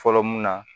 Fɔlɔ mun na